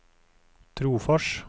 Trofors